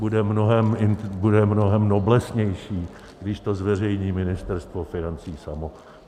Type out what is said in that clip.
Bude mnohem noblesnější, když to zveřejní Ministerstvo financí samo.